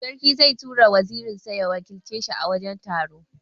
Sarki zai tura wazirin sa ya wakilce shi a wurin taro.